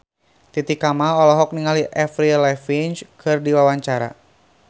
Titi Kamal olohok ningali Avril Lavigne keur diwawancara